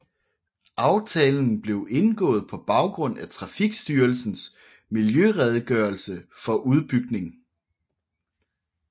Aftalen blev indgået på baggrund af Trafikstyrelsens miljøredegørelse for udbygning